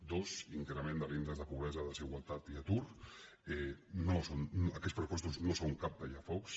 dos increment de l’índex de pobresa desigualtat i atur aquests pressu·postos no són cap tallafocs